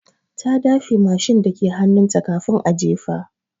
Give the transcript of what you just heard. Ta dafe mashin dake hannunta kafin a jefa.